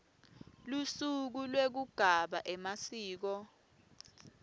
lusuku lwekugabha emasiko